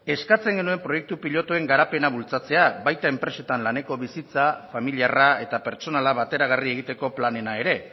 eskatzen genuen proiektu pilotuen garapena bultzatzea baita enpresetan laneko bizitza familiarra eta pertsonala bateragarri egiteko planena ere